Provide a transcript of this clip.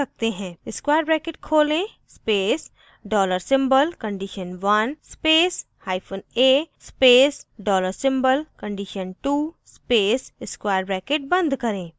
* square bracket खोलें space dollar symbol condition1 space hyphen a space dollar symbol condition2 space square bracket बंद करें